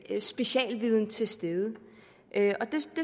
er specialviden til stede men jeg